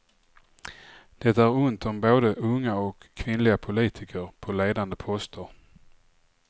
Det är ont om både unga och kvinnliga politiker på ledande poster.